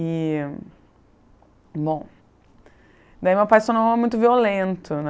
E... Bom... Daí meu pai se tornou muito violento, né?